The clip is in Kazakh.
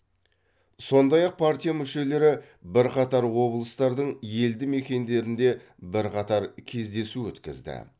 сондай ақ партия мүшелері бірқатар облыстардың елді мекендерінде бірқатар кездесу өткізді